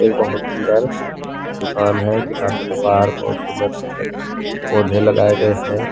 एक बहोत सुंदर दुकान है दुकान के बाहर बहोत सुंदर सुंदर पौधे लगाए गए हैं।